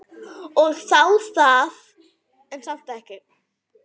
Og þá það.